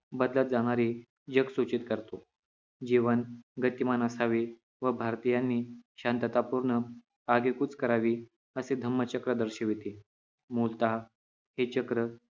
बदलत जाणारे जग सूचित करतो जीवन गतिमान असावे व भारतीयांनी शांततापूर्ण आगेकूच करावी असे धम्मचक्र दर्शविते मूलतः हे चक्र